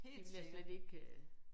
Det ville jeg slet ikke øh